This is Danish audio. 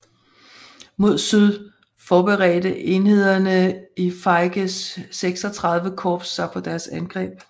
Mod syd forberedte enhederne i Feiges XXXVI Korps sig på deres angreb